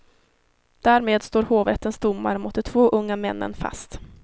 Därmed står hovrättens domar mot de två unga männen fast.